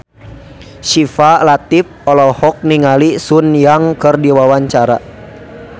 Syifa Latief olohok ningali Sun Yang keur diwawancara